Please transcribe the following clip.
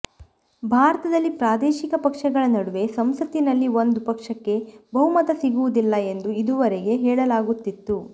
ಭಾರತದಲ್ಲಿ ಪ್ರಾದೇಶಿಕ ಪಕ್ಷಗಳ ನಡುವೆ ಸಂಸತ್ತಿನಲ್ಲಿ ಒಂದು ಪಕ್ಷಕ್ಕೆ ಬಹುಮತ ಸಿಗುವುದಿಲ್ಲ ಎಂದು ಇದುವರೆಗೆ ಹೇಳಲಾಗುತ್ತಿತ್ತು